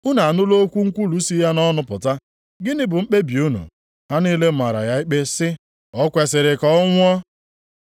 Unu anụla okwu nkwulu si ya nʼọnụ pụta! Gịnị bụ mkpebi unu?” Ha niile mara ya ikpe sị, “O kwesiri ka ọ nwụọ!”